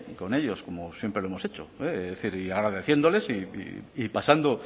con ellos como siempre lo hemos hecho es decir y agradeciéndoles y pasando